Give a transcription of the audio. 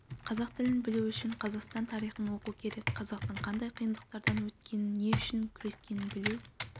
қазақ тілін білу үшін қазақстан тарихын оқу керек қазақтың қандай қиындықтардан өткенін не үшін күрескенін білу